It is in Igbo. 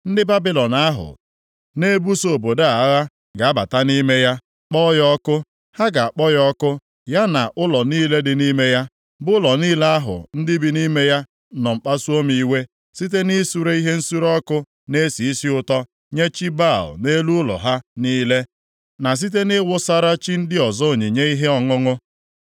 Ndị Babilọn ahụ na-ebuso obodo a agha, ga-abata nʼime ya, kpọọ ya ọkụ. Ha ga-akpọ ya ọkụ, ya na ụlọ niile dị nʼime ya, bụ ụlọ niile ahụ ndị bi nʼime ya nọ kpasuo m iwe, site nʼisure ihe nsure ọkụ na-esi isi ụtọ nye chi Baal nʼelu ụlọ ha niile, na site nʼịwụsara chi ndị ọzọ onyinye ihe ọṅụṅụ.